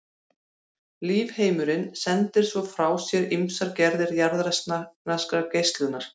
Lífheimurinn sendir svo frá sér ýmsar gerðir jarðneskrar geislunar.